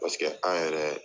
paseke an yɛrɛ